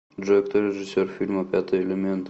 джой кто режиссер фильма пятый элемент